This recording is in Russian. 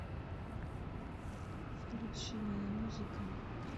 включи моя музыка